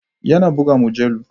Yana buga mujallu.